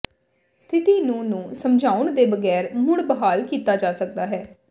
ਸਥਿਤੀ ਨੂੰ ਨੂੰ ਸਮਝਾਉਣ ਦੇ ਬਗੈਰ ਮੁੜ ਬਹਾਲ ਕੀਤਾ ਜਾ ਸਕਦਾ ਹੈ